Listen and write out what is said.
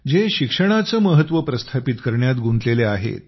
जे शिक्षणाचं महत्व प्रस्थापित करण्यात गुंतलेले आहेत